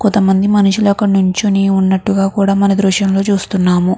కొంతమంది మనుషులు అక్కడ నించోని ఉన్నట్టుగా కూడా మన దృశ్యం లో చూస్తున్నాము.